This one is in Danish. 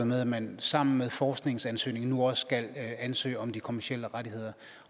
med at man sammen med forskningsansøgningen nu også skal ansøge om de kommercielle rettigheder